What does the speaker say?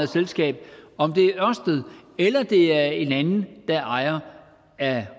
selskab om det er en anden der er ejer af